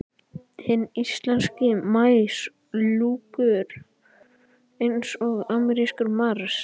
Hinn íslenski maí lúkkar eins og amerískur mars.